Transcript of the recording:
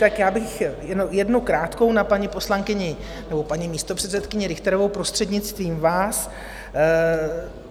Tak já bych jednu krátkou na paní poslankyni nebo paní místopředsedkyni Richterovou, prostřednictvím vás.